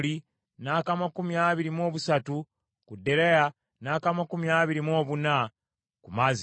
n’ak’amakumi abiri mu busatu ku Deraya, n’ak’amakumi abiri mu buna ku Maaziya.